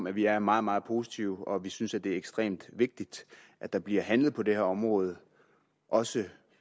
at vi er meget meget positive og vi synes det er ekstremt vigtigt at der bliver handlet på det her område også